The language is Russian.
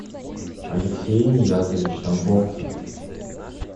алексей ниязович тамбовцев